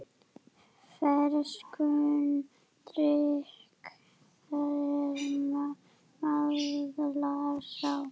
Ferskum drykk þér miðlar sá.